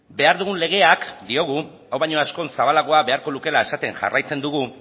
behar dugun legeak diogu hau baino askoz zabalagoa beharko lukeela esaten jarraitzen dugu